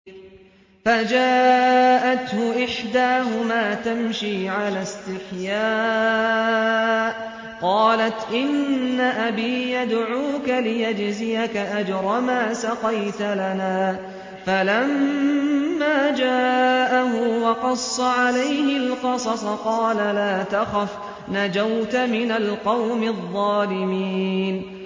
فَجَاءَتْهُ إِحْدَاهُمَا تَمْشِي عَلَى اسْتِحْيَاءٍ قَالَتْ إِنَّ أَبِي يَدْعُوكَ لِيَجْزِيَكَ أَجْرَ مَا سَقَيْتَ لَنَا ۚ فَلَمَّا جَاءَهُ وَقَصَّ عَلَيْهِ الْقَصَصَ قَالَ لَا تَخَفْ ۖ نَجَوْتَ مِنَ الْقَوْمِ الظَّالِمِينَ